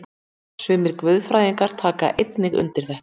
Sumir guðfræðingar taka einnig undir þetta.